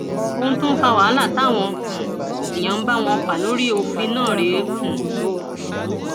ohun tó fa wàhálà táwọn um èèyàn ń bá wọn fà lórí òfin náà rèé um o